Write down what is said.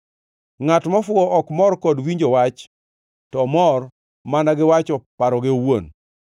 Ngʼat mofuwo ok mor kod winjo wach to omor mana gi wacho paroge owuon.